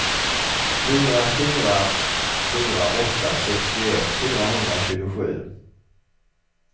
fyra fyra fyra åtta sextioett fyrahundratjugosju